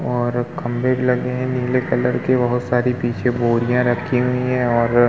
और खंभे भी लगे हैं नीले कलर के। बहुत सारी पीछे बोरियां रखी हुई हैं और --